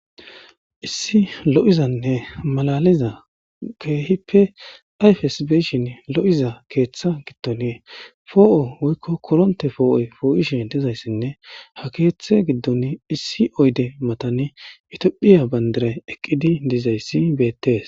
Issi lo7izanne malaliza keehippe ayfesbeyshin lo7iza keeththa gittonie foo7o woykko koronte foo7oy foo7ishe dizayssinne ha keeththe giddon issi oyde matani itiophiya bandaray eqqidi dizayssi beettees.